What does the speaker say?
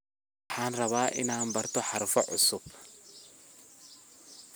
Waxan rawaa inan barto harfo cusub .